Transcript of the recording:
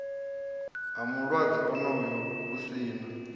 mulwadze onoyo hu si na